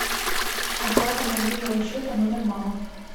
оплата мобильного счета номер мама